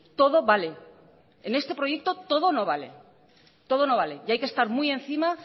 todo vale en este proyecto todo no vale todo no vale y hay que estar muy encima